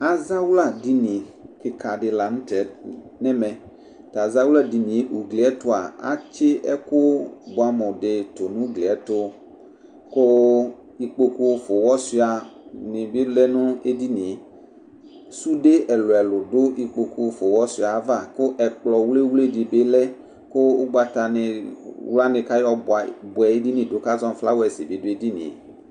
Azawla dini kika di lanʋtɛ nʋ ɛmɛ tʋ azawla dini yɛ ayʋ ʋgli yɛ tʋa atsɩ ɛkʋ bʋeamʋ di tunu ʋgli yɛtʋ kʋ ikpokʋ fʋa ʋwɔsuia nibi lɛnʋ edinie sʋde ɛlʋ elʋ dʋ ikpokʋ fʋa ʋwɔsuia yɛ ava kʋ ɛkplɔ wli wli dibi lɛ kʋ ʋgnatawla ni kʋ ayɔ bʋɛ edini kʋ azɔ nʋ flawɛsi bi dʋ edinie